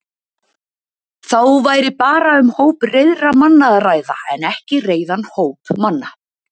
Þá væri bara um hóp reiðra manna að ræða en ekki reiðan hóp manna.